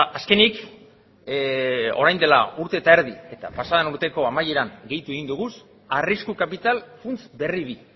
azkenik orain dela urte eta erdi eta pasa den urteko amaieran gehitu egin dugu arrisku kapital funts berri bi